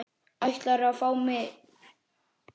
Ætlarðu að fá miða?